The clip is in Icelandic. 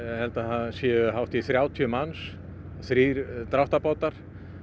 held að það séu hátt í þrjátíu manns þrír dráttarbátar